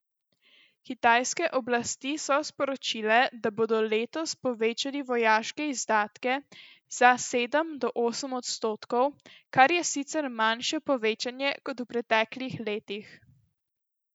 Kitajske oblasti so sporočile, da bodo letos povečali vojaške izdatke za sedem do osem odstotkov, kar je sicer manjše povečanje kot v preteklih letih.